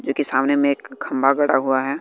जो की सामने में एक खंबा गड़ा हुआ है।